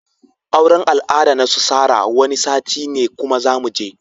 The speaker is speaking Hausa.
Auran al'ada nasu Sarah Wani sati ne kuma zamuje.